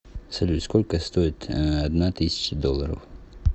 салют сколько стоит одна тысяча долларов